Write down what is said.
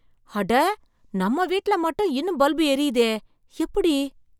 அட! நம்ம வீட்ல மட்டும் இன்னும் பல்பு எரியுதே, எப்படி?